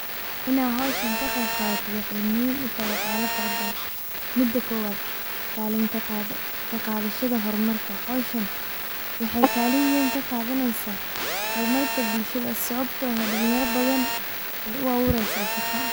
Inad howshan kaqeyb qadato waxay muhim utahay waxyala farbadan mida kobad, kalin kaqadhada hormarka, howshan waxay kalin weyn kaqadanadeysa hormarinta bulshada sababto dalinyar badan ay uabureysa shaqo.